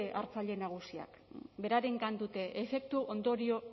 hartzaile nagusiak berarengan dute efektu ondorio